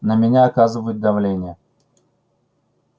на меня оказывают давление